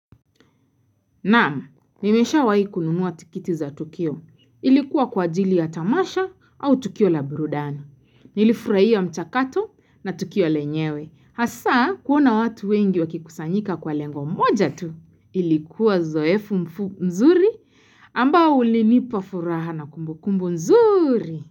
Naam, nimeshawai kununua tikiti za tukio. Ilikuwa kwa ajili ya Tamasha au Tukio la Brudani. Nilifurahia mchakato na Tukio lenyewe. Hasa, kuona watu wengi wakikusanyika kwa lengo moja tu. Ilikuwa zoefu mzuri ambao ulinipa furaha na kumbukumbu nzuri.